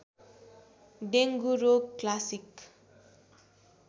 dengue रोग classic